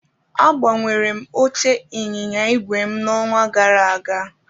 Agbanwere m oche ịnyịnya ígwè n'ọnwa gara aga